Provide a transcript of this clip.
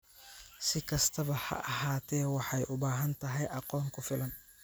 Si kastaba ha ahaatee, waxay u baahan tahay aqoon ku filan,